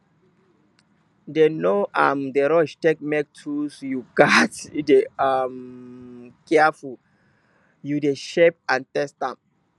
dem no um d rush take make tools you gatz dey um careful wen you de shape and test am